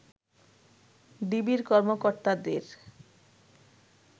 ডিবির কর্মকর্তাদের